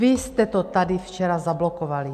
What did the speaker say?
Vy jste to tady včera zablokovali!